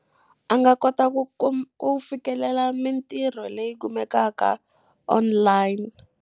A nga kota ku ku fikelela mitirho leyi kumekaka online.